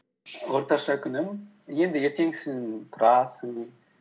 орташа күнім енді ертеңгісін тұрасың